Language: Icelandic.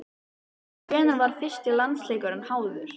En hvenær var fyrsti landsleikurinn háður?